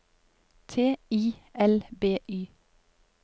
T I L B Y